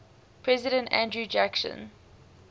president andrew jackson